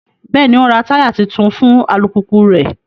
Bẹẹni, o n rá taya tuntun fún alupupu rẹ